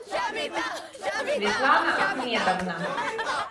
светлана ахмедовна